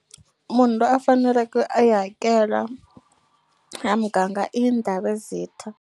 Munhu loyi a faneleke a yi hakela ya muganga i Ndhavezitha.